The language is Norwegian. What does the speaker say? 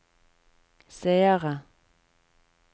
seere